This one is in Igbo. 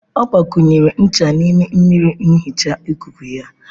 Ọ gbakwunyere ncha n'ime mmiri nhicha ikuku ya.